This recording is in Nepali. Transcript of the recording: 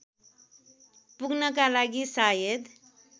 पुग्नका लागि सायद